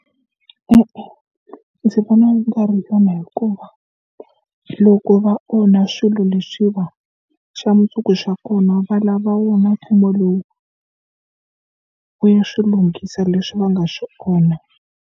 E-e ndzi vona swi nga ri kona hikuva loko va onha swilo leswi va xa mundzuku xa kona va lava wona mfumo lowu u ya swilunghisa leswi va nga swi onha.